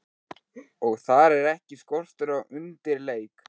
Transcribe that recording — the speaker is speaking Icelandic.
Og þar er ekki skortur á undirleik.